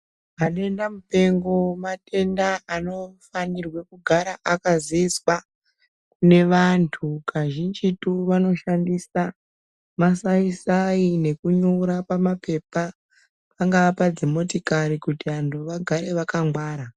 Madenda mupengo madenda anofanirwe kugara akaziiswa kune vandu kazhinji. Vanoshandisa masi sai nekunyora pamapepa pangaa padzimotikari kuti vantu vagare vakangwara